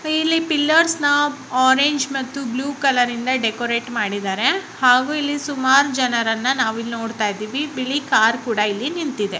ಇಲ್ಲಿ pillars orange ಮತ್ತು blue ಕಲರಿಂದ ಡೆಕೋರೇಟ್ ಮಾಡಿದಾರೆ ಹಾಗು ಇಲ್ಲಿ ಸುಮಾರ್ ಜನರನ್ನ ನಾವಿಲ್ಲ್ ನೋಡ್ತಾ ಇದೀವಿ. ಬಿಳಿ ಕಾರ್ ಕೂಡ ಇಲ್ಲಿ ನಿಂತಿದೆ.